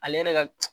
Ale yɛrɛ ka